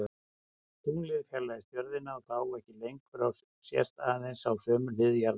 Tunglið fjarlægist jörðina þá ekki lengur og sést aðeins á sömu hlið jarðar.